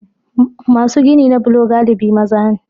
Masu gini na bulo galibi maza ne.